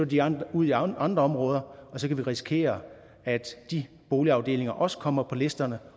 de andre ud i andre områder og så kan vi risikere at de boligafdelinger også kommer på listerne